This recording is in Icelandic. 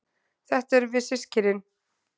Þetta erum við systkinin.